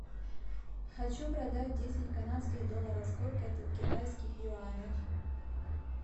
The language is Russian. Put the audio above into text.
хочу продать десять канадских долларов сколько это в китайских юанях